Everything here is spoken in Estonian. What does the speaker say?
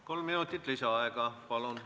Kolm minutit lisaaega, palun!